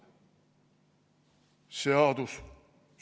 Seadus!